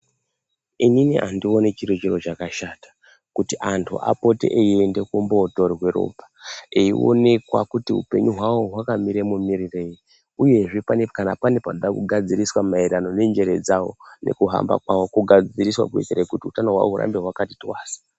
Inini andioni chiri chiro chakashata kuti antu apote eienda kumbootorwe ropa eionekwa kuti upenyu hwavo hwakamira mumirirei uyezve kana pane panoda kugadziriswa maererano nenjere dzavo nekuhamba kwavo kogadziriswa kuitira kuti utano hwavo hurambe hwakati twasa.